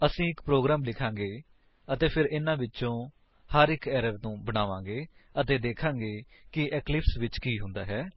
ਅਸੀ ਇੱਕ ਪ੍ਰੋਗਰਾਮ ਲਿਖਾਂਗੇ ਅਤੇ ਫਿਰ ਇਹਨਾਂ ਵਿਚੋਂ ਹਰ ਇੱਕ ਏਰਰਸ ਨੂੰ ਬਣਾਵਾਂਗੇ ਅਤੇ ਦੇਖਾਂਗੇ ਕਿ ਇਕਲਿਪਸ ਵਿੱਚ ਕੀ ਹੁੰਦਾ ਹੈ